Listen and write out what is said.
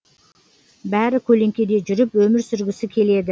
бәрі көлеңкеде жүріп өмір сүргісі келеді